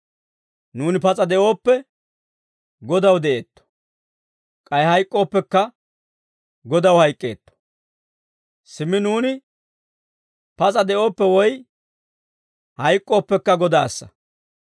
Nuuni pas'a de'ooppe, Godaw de'eetto; k'ay hayk'k'ooppekka, Godaw hayk'k'eetto. Simmi nuuni pas'a de'ooppe woy hayk'k'ooppekka Godaassa.